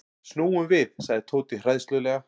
Snúum við sagði Tóti hræðslulega.